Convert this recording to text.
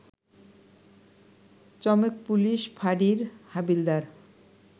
চমেক police ফাঁড়ির হাবিলদার